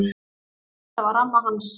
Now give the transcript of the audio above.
Þetta var amma hans